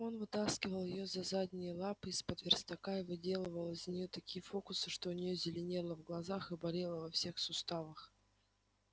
он вытаскивал её за задние лапы из-под верстака и выделывал из неё такие фокусы что у неё зеленело в глазах и болело во всех суставах